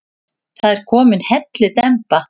Það er komin hellidemba.